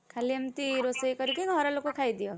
ଖାଲି ଏମିତି ରୋଷେଇ କରିକି ଘର ଲୋକ ଖାଇଦିଅ।